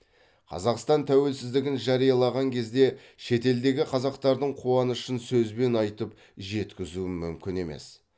қазақстан тәуелсіздігін жариялаған кезде шетелдегі қазақтардың қуанышын сөзбен айтып жеткізу мүмкін емес